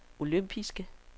olympiske